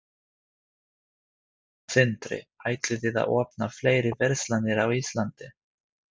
Sindri: Ætlið þið að opna fleiri verslanir á Íslandi?